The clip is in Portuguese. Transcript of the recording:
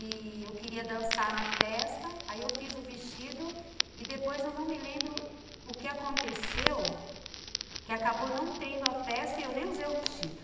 E eu queria dançar na festa, aí eu fiz o vestido e depois eu não me lembro o que aconteceu, que acabou não tendo a festa e eu nem usei o vestido.